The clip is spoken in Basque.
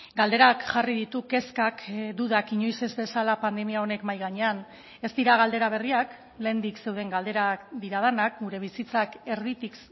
galderak jarri ditu kezkak dudak inoiz ez bezala pandemia honek mahi gainean ez dira galdera berriak lehendik zeuden galderak dira denak gure bizitzak erditik